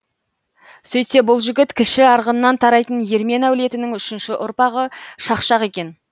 сөйтсе бұл жігіт кіші арғыннан тарайтын ермен әулетінің үшінші ұрпағы шақшақ екен